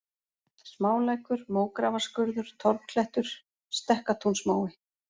Smálækur, Mógrafarskurður, Torfklettur, Stekkatúnsmói